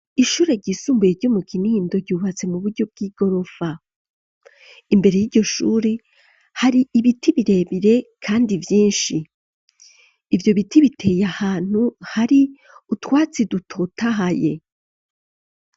Ishure ryisumbuye ryo mu kinindo ryubatse mu buryo bw'i gorofa imbere y'iryo shuri hari ibiti birebire, kandi vyinshi ivyo biti biteye ahantu hari utwatsi dutotahaye.